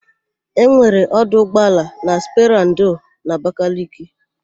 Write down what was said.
Enwere ọdụ ụgbọala nọ na sperandio n'Abakaliki.